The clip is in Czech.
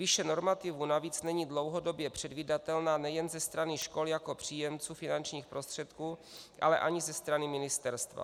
Výše normativů navíc není dlouhodobě předvídatelná nejen ze strany škol jako příjemců finančních prostředků, ale ani ze strany ministerstva.